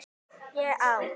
ÉG Á